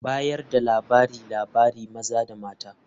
Bayar da labariLabari maza da mata.